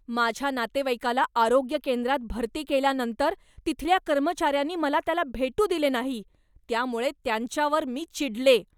माझ्या नातेवाईकाला आरोग्य केंद्रात भरती केल्यानंतर तिथल्या कर्मचाऱ्यांनी मला त्याला भेटू दिले नाही. त्यामुळे त्यांच्यावर मी चिडले.